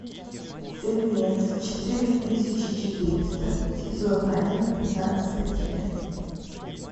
фильмец четыре тысячи четыреста сезон один пятнадцатая часть